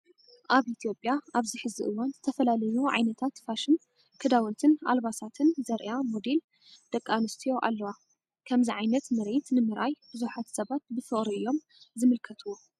ኣብ ኢትዮጵያ ኣብዚ ሕዚ እዋን ዝተፈላለዩ ዓይነታት ፋሽን ክዳውንትን ኣልባሳትን ዘርእያ ሞዴል ደቂ ኣንስትዮ ኣለዎ። ከምዚ ዓይነት ምርኢት ንምርኣይ ብዙሓት ሰባት ብፍቅሪ እዮም ዝምልከትዎ።